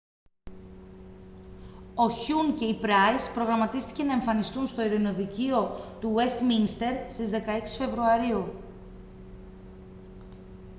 ο χιουν και η πράις προγραμματίστηκε να εμφανιστούν στο ειρηνοδικείο του ουεστμίνστερ στις 16 φεβρουαρίου